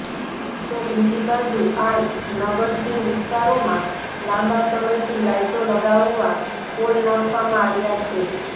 તો બીજી બાજુ આ નગરસીમ વિસ્તારોમાં લાંબા સમયથી લાઈટો લગાવવા પોલ નાખવામાં આવ્યા છે